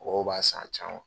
Mɔgɔw b'a san a caman.